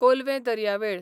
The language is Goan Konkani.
कोलवें दर्यावेळ